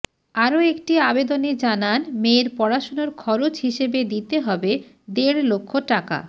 আরও একটি আবেদনে জানান মেয়ের পড়াশোনার খরচ হিসেবে দিতে হবে দেড় লক্ষ টাকা